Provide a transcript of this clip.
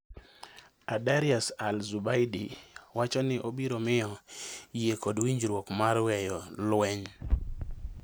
Aidarus al Zubaidi wacho ni obiro miyo yie kod winjruok mar weyo lweny